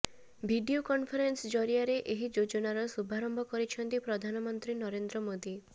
video conference ଜରିଆରେ ଏହି ଯୋଜନାର ଶୁଭାରମ୍ଭ କରିଛନ୍ତି ପ୍ରଧାନମନ୍ତ୍ରୀ ନରେନ୍ଦ୍ର ମୋଦି